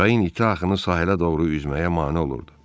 Çayın iti axını sahilə doğru üzməyə mane olurdu.